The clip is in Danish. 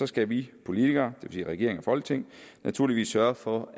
skal vi politikere det vil sige regering og folketing naturligvis sørge for